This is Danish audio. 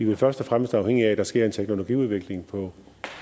vel først og fremmest afhængig af at der sker en teknologiudvikling på